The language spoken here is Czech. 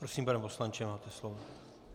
Prosím pane poslanče, máte slovo.